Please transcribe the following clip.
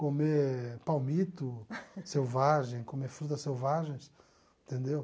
comer palmito selvagem, comer frutas selvagens, entendeu?